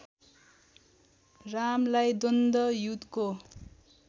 रामलाई द्वन्द्व युद्धको